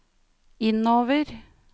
innover